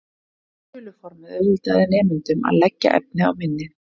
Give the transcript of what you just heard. Þuluformið auðveldaði nemendunum að leggja efnið á minnið.